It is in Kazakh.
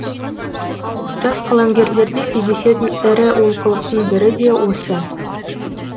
жас қаламгерлерде кездесетін ірі олқылықтың бірі де осы